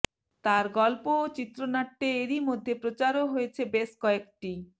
তার গল্প ও চিত্রনাট্যে এরইমধ্যে প্রচারও হয়েছে বেশ কয়েকটি